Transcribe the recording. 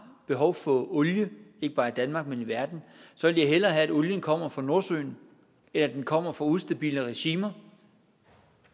behov for olie ikke bare i danmark men i verden vil jeg hellere have at olien kommer fra nordsøen end at den kommer fra ustabile regimer